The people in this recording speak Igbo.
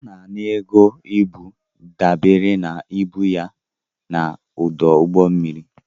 A na-ana ego ibu dabere na ibu ya n'ọdụ ụgbọ mmiri.